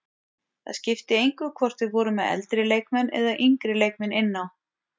Það skipti engu hvort við vorum með eldri leikmenn eða yngri leikmenn inn á.